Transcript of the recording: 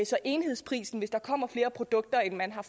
så enhedsprisen hvis der kommer flere produkter end man har